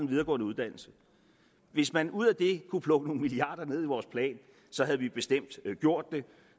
videregående uddannelse hvis man ud af det kunne plukke nogle milliarder ned i vores plan så havde vi bestemt gjort det